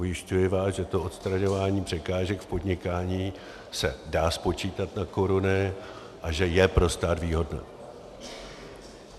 Ujišťuji vás, že to odstraňování překážek v podnikání se dá spočítat na koruny a že je pro stát výhodné.